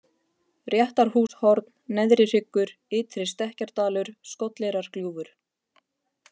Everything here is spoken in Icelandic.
Réttarhúshorn, Neðri hryggur, Ytri -Stekkjardalur, Skolleyrargljúfur